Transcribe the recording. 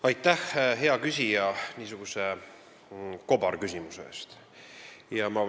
Aitäh, hea küsija, niisuguse kobarküsimuse eest!